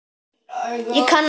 Þvert á móti!